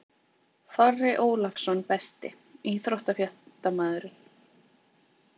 Þorri Ólafsson Besti íþróttafréttamaðurinn?